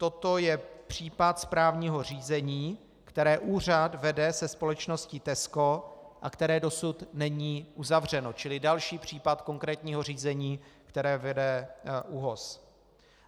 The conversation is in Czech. Toto je případ správního řízení, které úřad vede se společností Tesco a které dosud není uzavřeno, čili další případ konkrétního řízení, které vede ÚOHS.